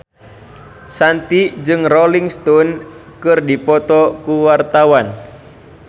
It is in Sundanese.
Shanti jeung Rolling Stone keur dipoto ku wartawan